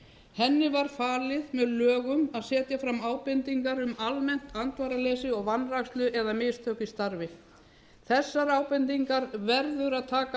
henni var falið með lögum að setja fram ábendingar um almennt andvaraleysi og vanrækslu eða mistök í starfi þessar ábendingar verður að taka